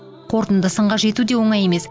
қорытынды сынға жету де оңай емес